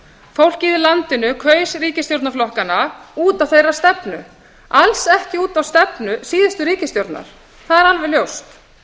fólkið í landinu kaus ríkisstjórnaflokkana út á stefnu þeirra alls ekki út af stefnu síðustu ríkisstjórnar það er alveg ljóst